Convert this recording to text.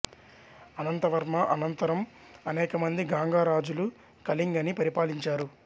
అనంత వర్మ అనంతరం అనేకమంది గాంగ రాజులు కళింగని పరిపాలించారు